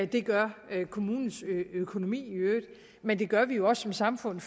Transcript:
det gør kommunens økonomi i øvrigt men det gør vi jo også som samfund